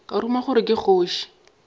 ka ruma gore ke kgoši